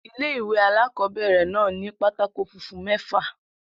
Ilé-ìwé alákobẹ̀rẹ̀ náà ni pátákó funfun mẹ́fà